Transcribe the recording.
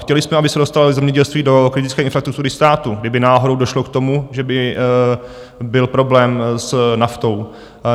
Chtěli jsme, aby se dostalo zemědělství do kritické infrastruktury státu, kdyby náhodou došlo k tomu, že by byl problém s naftou.